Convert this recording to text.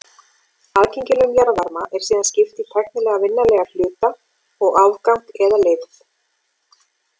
Aðgengilegum jarðvarma er síðan skipt í tæknilega vinnanlegan hluta og afgang eða leifð.